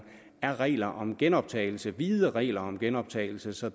er regler om genoptagelse vide regler om genoptagelse så